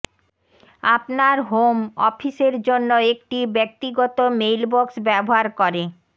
আপনার হোম অফিসের জন্য একটি ব্যক্তিগত মেইলবক্স ব্যবহার করে